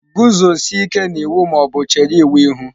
Guzosie ike na iwu ma ọ bụ chere iwu ihu!.